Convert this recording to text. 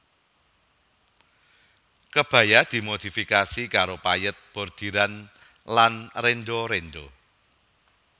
Kebaya dimodifikasi karo payèt bordiran lan renda renda